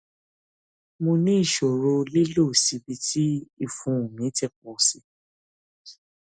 mo ní ìṣòro lílọ síbi tí ìfun mi ti pọ sí i